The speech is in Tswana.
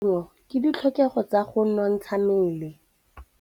Go ja maungo ke ditlhokegô tsa go nontsha mmele.